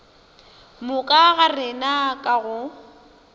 moka ga rena ka go